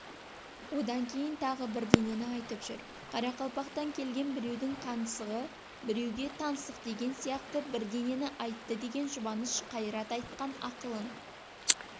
одан кейін тағы бірдеңені айтып жүр қарақалпақтан келген біреудің қаңсығы біреуге таңсық деген сияқты бірдеңені айтты деген жұбаныш қайрат айтқан ақылын